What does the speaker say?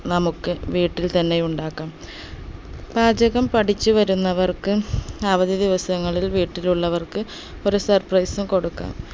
നമുക്ക് വീട്ടിൽത്തന്നെ ഉണ്ടാക്കാം പാചകം പഠിച്ചു വരുന്നവർക്ക് അവധി ദിവസങ്ങളിൽ വീട്ടിലുള്ളവർക്ക് ഒരു surprise ഉം കൊടുക്കാം